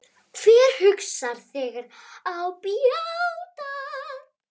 Hver huggar þegar á bjátar?